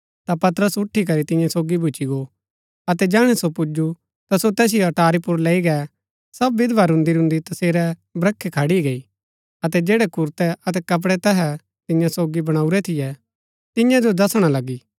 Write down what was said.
ता पतरस उठी करी तियां सोगी भूच्ची गो अतै जैहणै सो पुजु ता सो तैसिओ अटारी पुर लैई गै सब विधवा रून्‍दीरून्‍दी तसेरै ब्रखै खड़ी गई अतै जैड़ै कुरतै अतै कपड़ै तैहै तियां सोगी बणाऊरै थियै तियां जो दसणा लगी